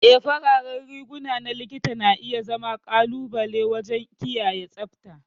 Ee, fararen riguna na Likita na iya zama ƙalubale waje kiyaye tsabta.